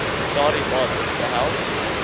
daardie bates behels